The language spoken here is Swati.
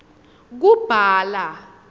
kubhala